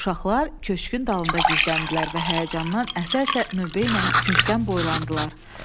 Uşaqlar köşkün dalında gizləndilər və həyəcandan əsə-əsə növbə ilə küncdən boylandılar.